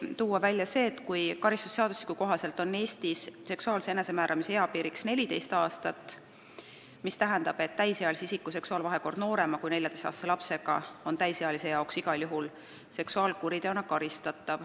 Praegu on karistusseadustiku kohaselt Eestis seksuaalse enesemääramise eapiiriks 14 aastat, mis tähendab, et täisealise isiku seksuaalvahekord noorema kui 14-aastase lapsega tähendab täisealisele igal juhul karistust seksuaalkuriteo eest.